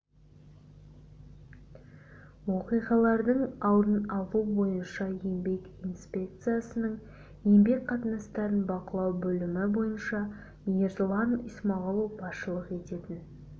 оқиғалардың алдын алу бойынша еңбек инспекциясының еңбек қатынастарын бақылау бөлімі басшысы ерлан исмағұлов басшылық ететін